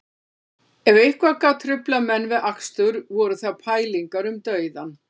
Ef eitthvað gat truflað menn við akstur voru það pælingar um dauðann